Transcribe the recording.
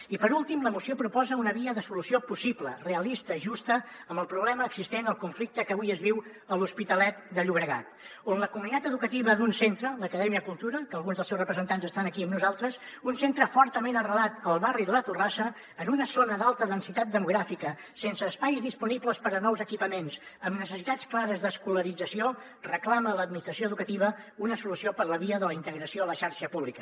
i per últim la moció proposa una via de solució possible realista justa amb el problema existent al conflicte que avui es viu a l’hospitalet de llobregat on la comunitat educativa d’un centre l’acadèmia cultura que alguns dels seus representants estan aquí amb nosaltres un centre fortament arrelat al barri de la torrassa en una zona d’alta densitat demogràfica sense espais disponibles per a nous equipaments amb necessitats clares d’escolarització reclama a l’administració educativa una solució per la via de la integració a la xarxa pública